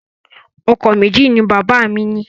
Ọkọ̀ méjì ni bàbá mi ní.